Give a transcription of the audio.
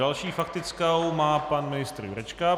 Další faktickou má pan ministr Jurečka.